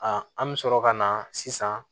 an bɛ sɔrɔ ka na sisan